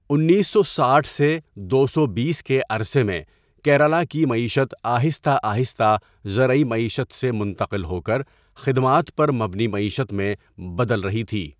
انیس سو ساٹھ سے دو سو بیس کے عرصے میں کیرالہ کی معیشت آہستہ آہستہ زرعی معیشت سے منتقل ہو کر خدمات پر مبنی معیشت میں بدل رہی تھی۔